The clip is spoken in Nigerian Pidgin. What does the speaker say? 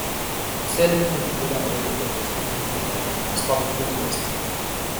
to sell food wey don already process dey bring better gain and stop food waste